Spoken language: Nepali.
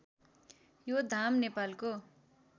यो धाम नेपालको